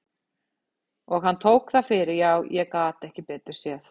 Og hann tók það fyrir já, ég gat ekki betur séð.